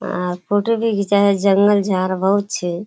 अ photo भी घीचा हे जंगल झार बहुत छे।